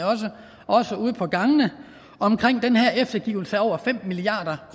også ude på gangene omkring den her eftergivelse af over fem milliard